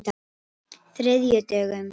þriðjudögum